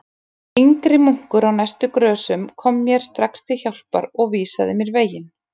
Yngri munkur á næstu grösum kom mér strax til hjálpar og vísaði mér veginn.